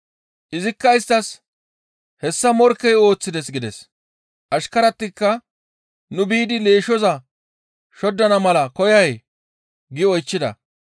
«Izikka isttas, ‹Hessa morkkey ooththides› gides. Ashkaratikka, ‹Nu biidi leeshshoza shoddana mala koyay?› gi oychchida.